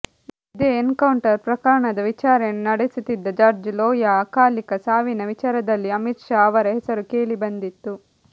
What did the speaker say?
ಇದೇ ಎನ್ಕೌಂಟರ್ ಪ್ರಕರಣದ ವಿಚಾರಣೆ ನಡೆಸುತ್ತಿದ್ದ ಜಡ್ಜ್ ಲೋಯಾ ಅಕಾಲಿಕ ಸಾವಿನ ವಿಚಾರದಲ್ಲಿಯೂ ಅಮಿತ್ ಶಾ ಅವರ ಹೆಸರು ಕೇಳಿಬಂದಿತ್ತು